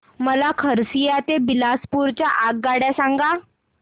मला खरसिया ते बिलासपुर च्या आगगाड्या सांगा